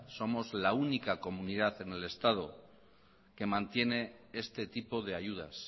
somos la única comunidad en el estado que mantiene este tipo de ayudas